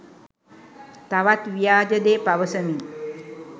තවත් ව්‍යාජ දේ පවසමින්